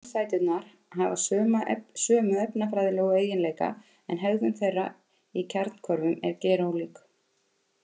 Samsæturnar hafa sömu efnafræðilegu eiginleika en hegðun þeirra í kjarnahvörfum er gerólík.